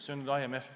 See on nüüd IMF.